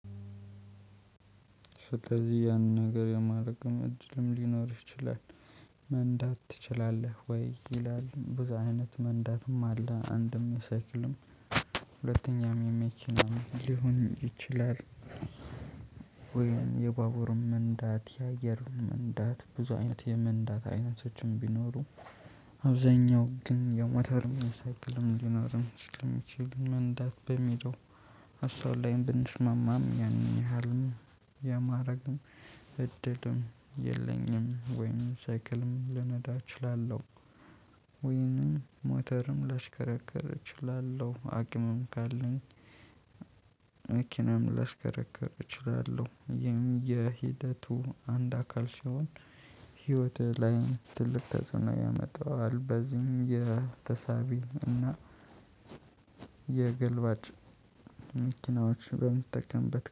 ስለዚህ ያንን ነገር የማርገም እድልም ሊኖርሽ ይችላል። መንዳት ትችላለህ ወይ? ይላል ብዙ አይነት መንዳትም አለ አንድም ሰክልም ሁለተኛም የመኪና ሊሆን ይችላል። ወይም የባጉርም መንዳት የአየርም መንዳት ብዙ አይነት የመንዳት አይነቶችም ቢኖሩ አብዛኛው ግን ያው የሞተርም ሳይክልም ሊኖርም ስለሚችልም መንዳት በሚለው ለሳብላይም ብንስማማም ያንን ያህልም የማድረግም እድልም የለኝም። ወይም ስይክልም ልነዳ እችላለሁ። ወይንም ማተርም ላሽከረከር እችላለ። አቅምም ካለኝ መኪናም ላሽከረከር እችላለሁ። የሚል የሂደቱ አንድ አካል ሲሆን ህይወትህ ላይ ትልቅ ተጽዕኖ ያመጣዋዋል። በዚህም የተሳቢ እና የገልባጭ መኪናዎች በምትጠቀምበት